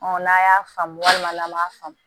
n'a y'a faamu walima an m'a faamu